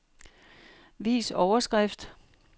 Vis overskrift.